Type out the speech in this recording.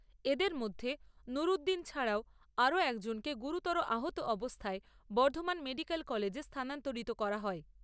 এদের মধ্যে নুর উদ্দীন ছাড়াও আরও একজনকে গুরুতর আহত অবস্থায় বর্ধমান মেডিকেল কলেজে স্থানান্তরিত করা হয়।